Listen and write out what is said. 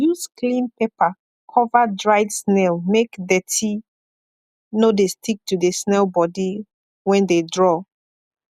use clean paper cover dried snail make dirty no de stick to the snail body wen de draw